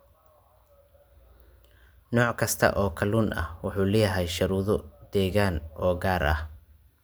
Nooc kasta oo kalluun ah wuxuu leeyahay shuruudo deegaan oo gaar ah.